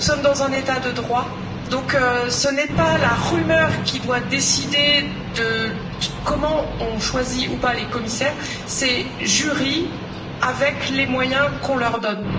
Nous sommes dans un État de droit, donc ce n'est pas la rumeur qui doit décider de comment on choisit ou pas les commissaires, c'est la commission JURI, avec les moyens qu'on lui donne.